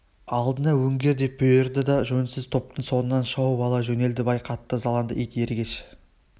алдыңа өңгер деп бұйырды да жөнсіз топтың соңынан шауып ала жөнелді бай қатты ызаланды ит ергеш